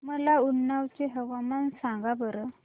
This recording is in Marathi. मला उन्नाव चे हवामान सांगा बरं